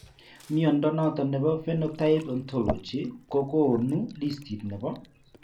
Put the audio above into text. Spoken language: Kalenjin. Mnyondo noton nebo Phenotype Ontology kogonu listit nebo